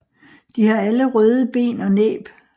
De har alle røde ben og næb